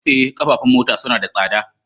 Eh, ƙafafun mota suna da tsada